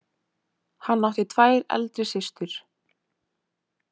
Hann átti tvær eldri systur.